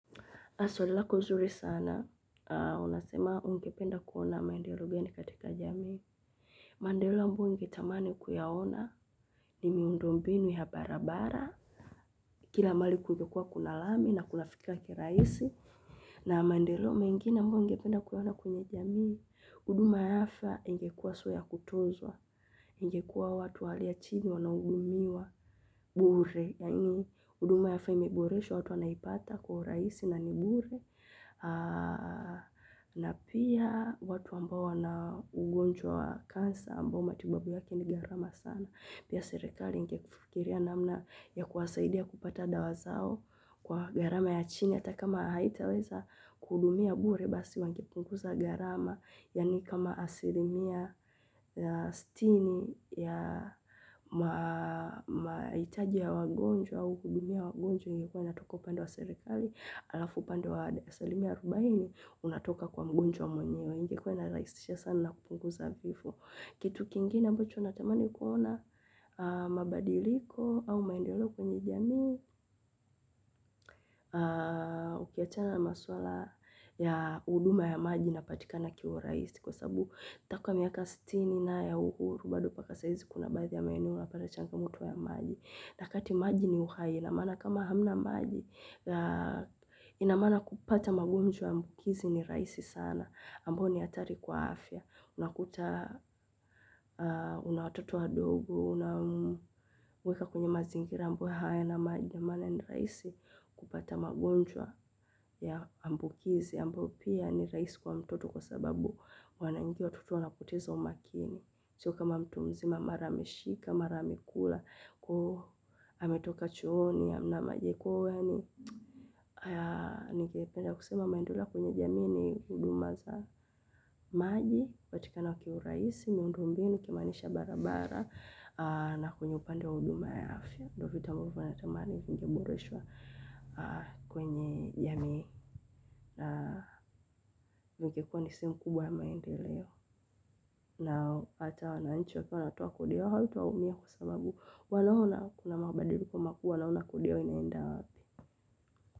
Swali lako nzuri sana, unasema ungependa kuona maendeleo gani katika jamii? Mandeleo ambayo ungetamani kuyaona ni miundo mbinu ya barabara, kila mahali kungekuwa kuna lami na kunafikika kirahisi. Na maendeleo mengine ambayo ungependa kuyaona kwenye jamii, huduma ya afya ingekuwa aswa ya kutunzwa ingekuwa watu wa hali ya chini wanaudumiwa bure. Yaani huduma ya afya imeboreshwa watu wanaipata kwa rahisi na ni bure na pia watu ambao wana ugonjwa wa cancer ambao matibabu yake ni gharama sana. Pia serikali ingefikiria namna ya kuwasaidia kupata dawa zao kwa gharama ya chini ata kama haitaweza kuhudumia bure basi wangepunguza gharama yaani kama asilimia ya sitini ya mahitaji ya wagonjwa au kuhudumia wagonjwa ingekuwa inatoka upande wa serikali alafu upande wa asilimia arubaini unatoka kwa mgonjwa mwenyewe ingekuwa inarahisisha sana kupunguza vifo. Kitu kingine ambacho natamani kuona mabadiliko au maendolo kwenye jamii ukiachana na maswala ya huduma ya maji inapatika na kiwa rahisi kwa sabu takwa miaka siti ni na ya uhuru bado paka saa hizi kuna baadhi ya maeneo unapata changamoto ya maji. Nyakati maji ni uhai ina maana kama hamna maji ina maana kupata magonjwa ambukizi ni rahisi sana ambao ni hatari kwa afya. Unakuta, una watoto wadogo, una mweka kwenye mazingira ambayo hayana maji ndio maana ni rahisi kupata magonjwa ya ambukizi, ambao pia ni rahisi kwa mtoto kwa sababu wanaingia watoto wanapoteza umakini. Sio kama mtu mzima mara ameshika, mara amekula, ametoka chooni hamna maji ya kuoga yaani ningependa kusema maendeleo kwenye jamii ni huduma za maji, kupatika kiurahisi, miundo mbinu, nikimaanisha barabara, na kwenye upande wa huduma ya afya. Ndio natamani vingeboreshwa kwenye jamii na vingekuwa ni sehemu kubwa ya maendeleo na ata wananchi wakiwa wanatoa kodi yao haitaumia kwa sababu wanaona kuna mabadiliko makuu wanaona kodi yao inaenda wapi.